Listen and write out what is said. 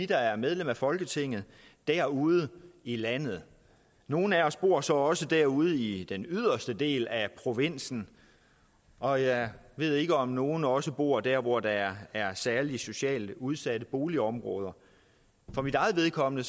der er medlemmer af folketinget derude i landet og nogle af os bor så også derude i den yderste del af provinsen og jeg ved ikke om nogle også bor der hvor der er særligt socialt udsatte boligområder for mit eget vedkommende